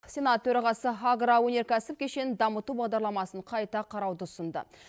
сенат төрағасы агроөнеркәсіп кешенін дамыту бағдарламасын қайта қарауды ұсынды